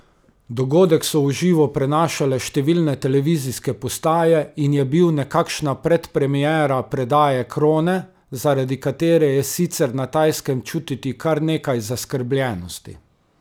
Dogodek so v živo prenašale številne televizijske postaje in je bil nekakšna predpremiera predaje krone, zaradi katere je sicer na Tajskem čutiti kar nekaj zaskrbljenosti.